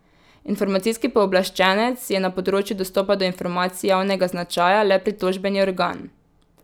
Informacijski pooblaščenec je na področju dostopa do informacij javnega značaja le pritožbeni organ.